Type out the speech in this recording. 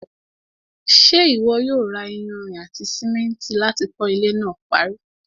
ṣé ìwọ yóò ra iyanrìn àti sìmẹ́ntì láti kọ́ ilẹ́ náà parí?